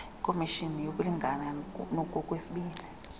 ikhomishini yokulingana ngokwesini